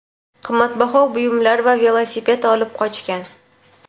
qimmatbaho buyumlar va velosiped olib qochgan.